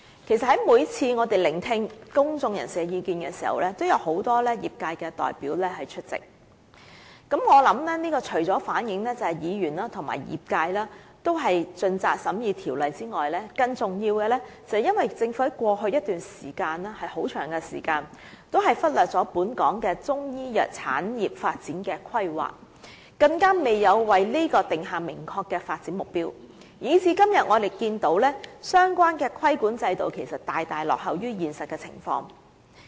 其實，每次我們在聆聽公眾人士的意見時，有很多業界代表出席，我想這除了反映議員和業界也是盡責地審議《條例草案》外，更重要的是，政府在過去一段長時間也忽略了本港的中醫藥產業發展的規劃，更未有為此訂下明確的發展目標，以致今天我們看見相關的規管制度大大落後於現實的情況。